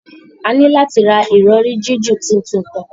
A ni lati ra irọri jiju titun kan